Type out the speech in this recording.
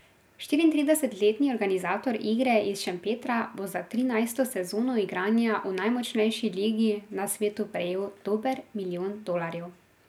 Štiriintridesetletni organizator igre iz Šempetra bo za trinajsto sezono igranja v najmočnejši ligi na svetu prejel dober milijon dolarjev.